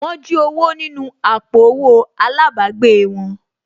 Wọ́n jí owó nínú àpò owó àlábàgbèè wọn